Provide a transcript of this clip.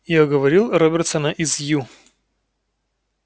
я уговорил робертсона из ю